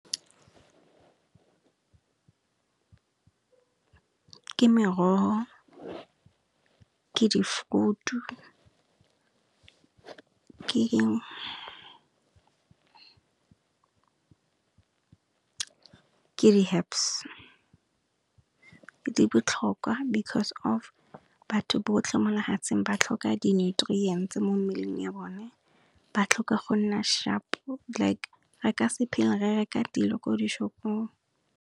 Ke morogo, ke di frutu, ke di herbs. Di botlhokwa because of batho botlhe mo lehatseng ba tlhoka di nutrients mo mmeleng ya bone ba tlhoka go nna shap like re ka se phele re reka dilo ko di shopong.